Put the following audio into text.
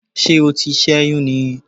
Ṣé o ti sẹ́yún ni?